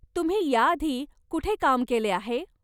तुम्ही ह्या आधी कुठे काम केले आहे?